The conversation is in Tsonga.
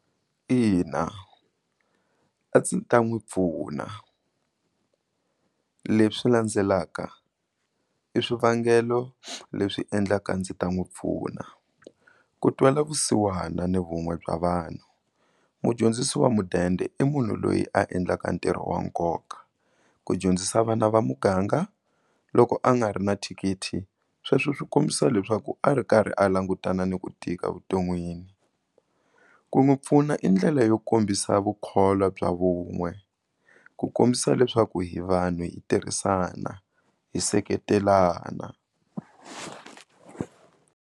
Ina a ndzi ta n'wi pfuna leswi landzelaka i swivangelo leswi endlaka ndzi ta n'wi pfuna, ku twela vusiwana ni vun'we bya vanhu mudyondzisi wa mudende i munhu loyi a endlaka ntirho wa nkoka ku dyondzisa vana va muganga loko a nga ri na thikithi sweswo swi kombisa leswaku a ri karhi a langutana ni ku tika vuton'wini ku n'wi pfuna i ndlela yo kombisa vukholwa bya vun'we ku kombisa leswaku hi vanhu hi tirhisana hi seketelana.